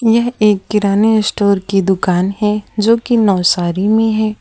यह एक किराना स्टोर की दुकान है जो की नवसारी में है।